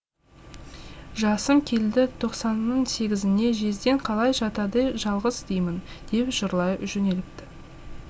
жасым келді тоқсанның сегізіне жездең қалай жатады жалғыз деймін деп жырлай жөнеліпті